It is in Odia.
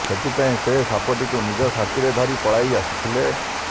ସେଥିପାଇଁ ସେ ସାପଟିକୁ ନିଜ ସାଥିରେ ଧରି ପଳାଇ ଆସିଥିଲେ